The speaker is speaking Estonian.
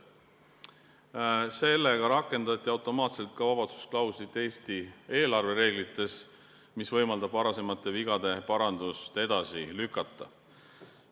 Sellega rakendati automaatselt vabastusklauslit ka Eesti eelarvereeglites, mis võimaldab varasemate vigade parandust edasi lükata.